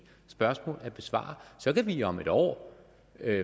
spørgsmål at besvare så kan vi om et år